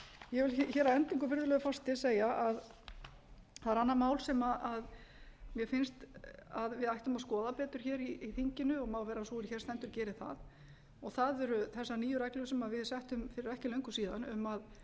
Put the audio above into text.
ég vil hér að endingu virðulegur forseti segja að það er annað mál sem mér finnst að við ættum að skoða betur hér í þinginu og má vera að sú er hér stendur geri það og það eru þessar nýju reglur sem við settum fyrir ekki löngu síðan um að